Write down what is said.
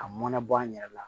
Ka mɔnabɔ an yɛrɛ la